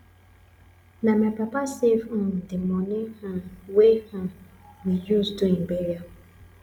na my papa save um di moni um wey um we use do im burial